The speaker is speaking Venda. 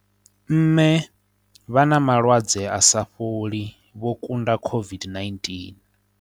Mme vha na malwadze a sa fholi vho kunda COVID-19